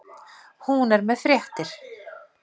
Hún er með fréttir.